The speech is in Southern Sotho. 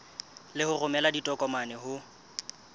le ho romela ditokomane ho